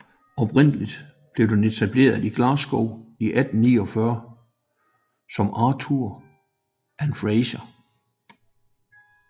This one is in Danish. Oprindeligt blev den etableret i Glasgow i 1849 som Arthur and Fraser